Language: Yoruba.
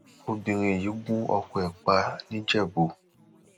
obìnrin yìí gun ọkọ ẹ pa nìjẹbù